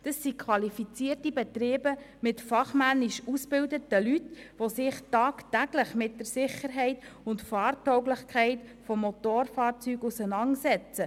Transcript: Das sind qualifizierte Betriebe mit fachmännisch ausgebildeten Leuten, die sich tagtäglich mit der Sicherheit und Fahr- tauglichkeit von Motorfahrzeugen auseinandersetzen.